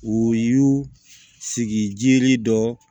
U y'u sigi dɔ